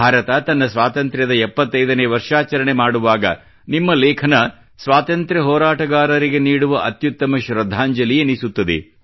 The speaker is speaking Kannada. ಭಾರತ ತನ್ನ ಸ್ವಾತಂತ್ರ್ಯದ 75 ನೇ ವರ್ಷಾಚರಣೆ ಮಾಡುವಾಗ ನಿಮ್ಮ ಲೇಖನವು ಸ್ವಾತಂತ್ರ್ಯ ಹೋರಾಟಗಾರರಿಗೆ ನೀಡುವ ಅತ್ಯುತ್ತಮ ಶ್ರದ್ಧಾಂಜಲಿ ಎನಿಸುತ್ತದೆ